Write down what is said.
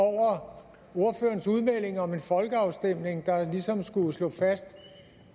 over ordførerens udmelding om en folkeafstemning der ligesom skulle slå fast